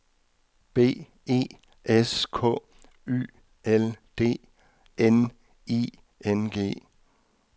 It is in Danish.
B E S K Y L D N I N G